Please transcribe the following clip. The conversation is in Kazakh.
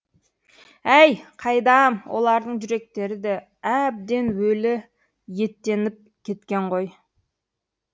әй қайдам олардың жүректері де әбден өлі еттеніп кеткен ғой